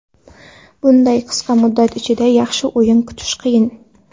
Bunday qisqa muddat ichida yaxshi o‘yin kutish qiyin.